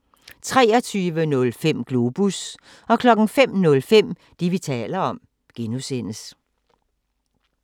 23:05: Globus 05:05: Det, vi taler om (G)